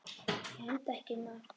Ég hendi ekki mat.